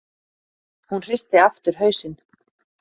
Hún hristi aftur hausinn.